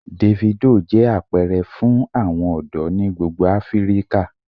Davido jẹ apẹrẹ fun awọn ọdọ ni gbogbo Afirika.